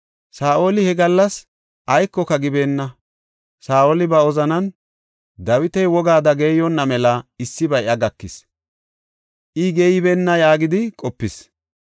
Saa7oli he gallas aykoka gibeenna. Saa7oli ba wozanan, “Dawiti wogaada geeyonna mela issibay iya gakis; I geeybeenna” yaagidi qopis.